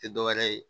Tɛ dɔ wɛrɛ ye